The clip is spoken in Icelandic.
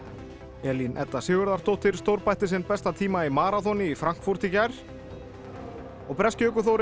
Elín Edda Sigurðardóttir stórbætti sinn besta tíma í maraþoni í Frankfurt í gær og breski ökuþórinn